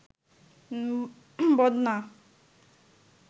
বদনা